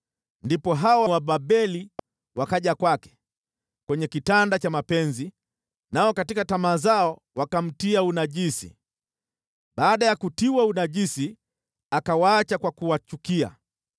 Ndipo hao Wababeli wakaja kwake kwenye kitanda cha mapenzi, nao katika tamaa zao wakamtia unajisi. Baada ya kutiwa unajisi, akawaacha kwa kuwachukia.